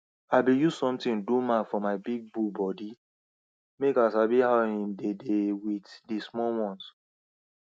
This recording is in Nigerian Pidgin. where you build animal house u suppose make am easy for them make dem fit see food water and make doctor fir come